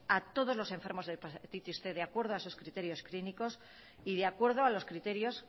a todos los enfermos de hepatitis cien de acuerdo a esos criterios clínicos y de acuerdo a los criterios